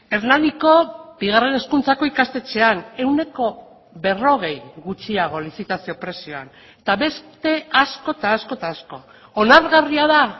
hernaniko bigarren hezkuntzako ikastetxean ehuneko berrogei gutxiago lizitazio prezioan eta beste asko eta asko eta asko onargarria da